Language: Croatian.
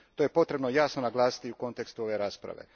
To je potrebno jasno naglasiti u kontekstu ove rasprave.